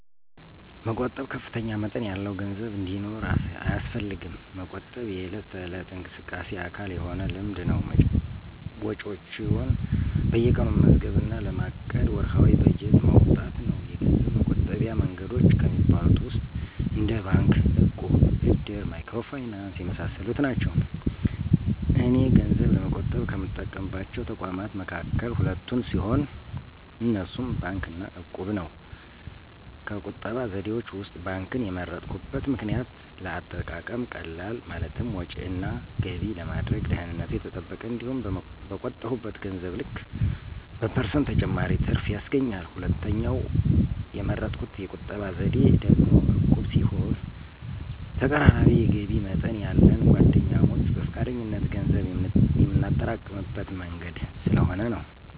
መቆጠብ ከፍተኛ መጠን ያለው ገንዘብ እንዲኖር አያስፈልግም። መቆጠብ የዕለት ተዕለት እንቅስቃሴ አካል የሆነ ልምድ ነው። ወጪዎችዎን በየቀኑ መመዝገብ እና ለማቀድ ወርሃዊ በጀት ማውጣት ነው። የገንዘብ መቆጠቢያ መንገዶች ከሚባሉት ውስጥ እንደ ባንክ፣ እቁብ፣ እድር፣ ማይክሮ ፋይናንስ የመሳሰሉት ናቸው። እኔ ገንዘብ ለመቆጠብ ከምጠቀምባቸው ተቋማት መካከል ሁለቱን ሲሆን፣ እነሱም ባንክ እና እቁብን ነው። ከቁጠባ ዘዴዎች ውስጥ ባንክን የመረጥኩበት ምክንያት ለአጠቃቀም ቀላል፣ ማለትም ወጭ እና ገቢ ለማድረግ፣ ደህንነቱ የተጠበቀ፣ እንዲሁም በቆጠብሁት ገንዘብ ልክ በፐርሰንት ተጨማሪ ትርፍ ያስገኛል። ሁለተኛው የመረጥሁት የቁጠባ ዘዴ ደግሞ ዕቁብ ሲሆን ተቀራራቢ የገቢ መጠን ያለን ጓደኛሞች በፈቃደኝነት ገንዘብ የምናጠራቅምበት መንገድ ስለሆነ ነው።